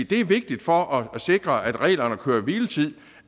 det er vigtigt for at sikre regler om køre hvile tid